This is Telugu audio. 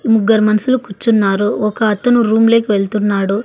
ముగ్గరు మనసులు కూర్చున్నారు ఒక అతను రూమ్ లేకి వెళ్తున్నాడు.